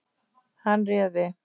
Hann réði.